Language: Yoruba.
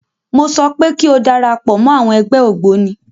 Mọ sọ pé kí o darapọ̀ mọ́ àwọn ẹgbẹ́ ògbóni.